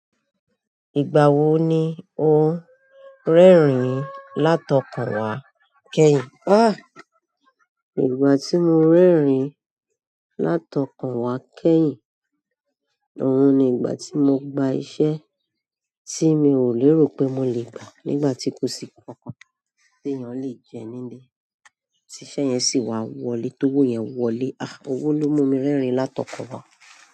Ìgbà wo ni o ń rẹ́rìn-ín látọkan re wá kẹ́yìn? Ah! Ìgbà tí mo ń rẹ́rìn-ín látọkùn wá kẹ́yìn, òun ni ìgbà tí mo gba iṣẹ́ tí mi ò lérò pé mo lè gbà nígbà tí kò sí nkankan tí èèyàn le jẹ nílé, tíṣe yẹn sì wá wọlé, tó wó yẹn wọlé. Ah! Owó ló mú mi rẹ́rìn-ín látọkan wá.